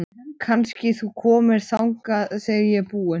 Kannski þú komir þangað þegar ég er búin?